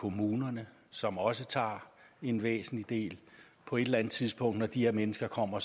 kommunerne som også tager en væsentlig del på et eller tidspunkt når de her mennesker kommer